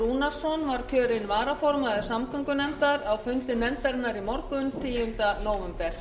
rúnarsson var kjörinn varaformaður samgöngunefndar á fundi nefndarinnar í morgun tíunda nóvember